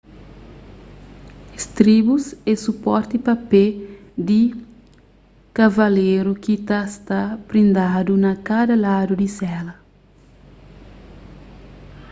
istribus é suporti pa pé di kavaleru ki ta sta prindadu na kada ladu di sela